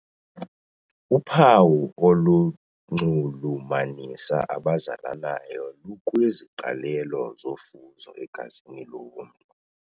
Uphawu olunxulumanisa abazalanayo lukwiziqalelo zofuzo egazini lomntu.